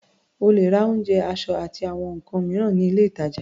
O lè ra oúnjẹ, aṣọ, àti àwọn nǹkan mìíràn ní ilé-ìtàjà.